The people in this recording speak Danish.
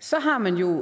så har man jo